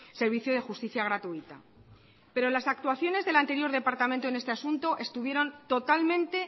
servicio de justicia gratuita pero las actuaciones del anterior departamento en este asunto estuvieron totalmente